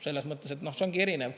Selles mõttes, et see ongi erinev.